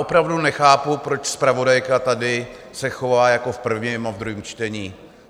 Opravdu nechápu, proč zpravodajka tady se chová jako v prvním a v druhém čtení.